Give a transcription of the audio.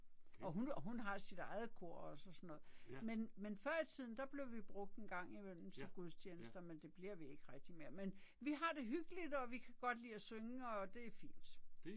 Og hun og hun har sit eget kor også og sådan noget. Men men før i tiden der blev vi brugt en gang imellem til gudstjenester men det bliver vi ikke rigtig mere men vi har det hyggeligt og vi kan godt lide at synge og det er fint